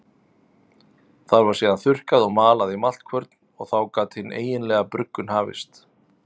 Það var síðan þurrkað og malað í maltkvörn og þá gat hin eiginlega bruggun hafist.